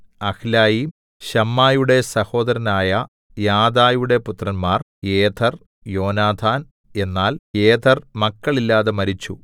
അഹ്ലയീം ശമ്മായിയുടെ സഹോദരനായ യാദയുടെ പുത്രന്മാർ യേഥെർ യോനാഥാൻ എന്നാൽ യേഥെർ മക്കളില്ലാതെ മരിച്ചു